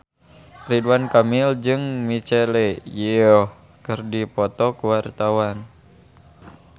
Ridwan Kamil jeung Michelle Yeoh keur dipoto ku wartawan